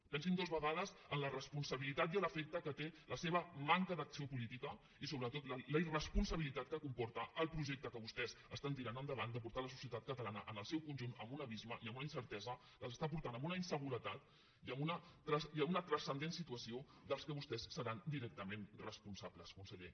pensin dues vegades en la responsabilitat i l’efecte que té la seva manca d’acció política i sobretot la irresponsabilitat que comporta el projecte que vostès estan tirant endavant de portar la societat catalana en el seu conjunt a un abisme i a una incertesa que els està portant a una inseguretat i a una transcendent situació de les quals vostès seran directament responsables conseller